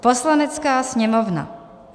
"Poslanecká sněmovna: